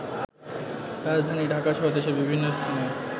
রাজধানী ঢাকাসহ দেশের বিভিন্ন স্থানে